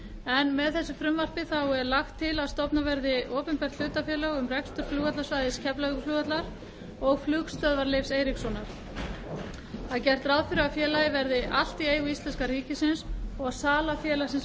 bárust með frumvarpinu er lagt til að stofnað verði opinbert hlutafélag um rekstur flugvallarsvæðis keflavíkurflugvallar og flugstöðvar leifs eiríkssonar gert er ráð fyrir að félagið verði allt í eigu íslenska ríkisins og að sala þess